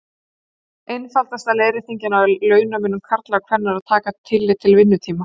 Einfaldasta leiðréttingin á launamun karla og kvenna er að taka tillit til vinnutíma.